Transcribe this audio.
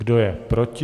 Kdo je proti?